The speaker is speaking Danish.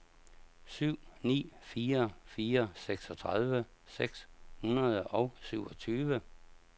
syv ni fire fire seksogtredive seks hundrede og syvogtyve